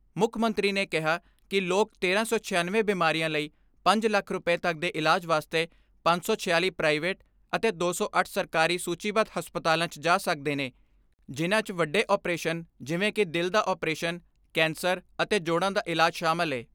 ਮੁੱਖ ਮੰਤਰੀ ਨੇ ਕਿਹਾ ਕਿ ਲੋਕ ਤੇਰਾਂ ਸੌ ਛਿਆਨਵੇਂ ਬਿਮਾਰੀਆਂ ਲਈ ਪੰਜ ਲੱਖ ਰੁਪੈ ਤੱਕ ਦੇ ਇਲਾਜ਼ ਵਾਸਤੇ ਪੰਜ ਸੌ ਛਿਆਲੀ ਪ੍ਰਾਈਵੇਟ ਅਤੇ ਦੋ ਸੌ ਅੱਠ ਸਰਕਾਰੀ ਸੂਚੀਬੱਧ ਹਸਪਤਾਲਾਂ 'ਚ ਜਾ ਸਕਦੇ ਨੇ ਜਿਨਾਂ 'ਚ ਵੱਡੇ ਆਪਰੇਸ਼ ਜਿਵੇਂ ਕਿ ਦਿਲ ਦਾ ਆਪ੍ਰੇਸ਼ਨ, ਕੈਂਸਰ ਅਤੇ ਜੋੜਾਂ ਦਾ ਇਲਾਜ ਸ਼ਾਮਲ ਏ।